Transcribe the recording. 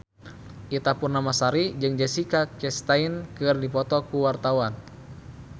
Ita Purnamasari jeung Jessica Chastain keur dipoto ku wartawan